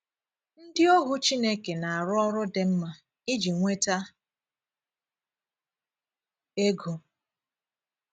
Ndị òhù Chineke na - arù ọrụ dị mma íji nwetà égo.